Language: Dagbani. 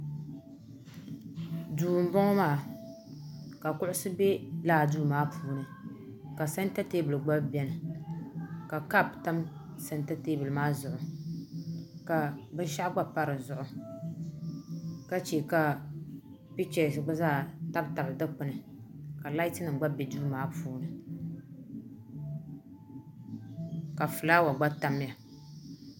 duu n bɔŋɔ maa ka kuɣusi bɛ laa duu maa puuni ka sɛnta teebuli gba biɛni ka kaap tam sɛnta teebuli maa zuɣu ka binshaɣu gba pa dizuɣu ka chɛ ka pichɛs gba zaa tabi tabi Dikpuni ka laati nim bɛ duu maa puuni ka fulaawa'gba tamya